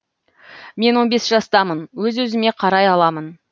мен он бес жастамын өз өзіме қарай аламын